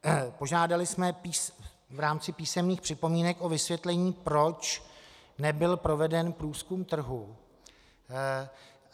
Požádali jsme v rámci písemných připomínek o vysvětlení, proč nebyl proveden průzkum trhu.